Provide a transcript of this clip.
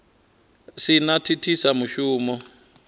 si na u thithisa mushumo